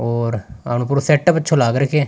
और अंकुर सेटअप अच्छो लाग रखीयो है।